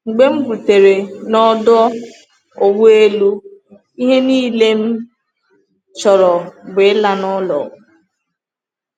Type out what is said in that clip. “Mgbe m rutere n’ọdụ ụgbọ elu, ihe niile m chọrọ bụ ịla n’ụlọ!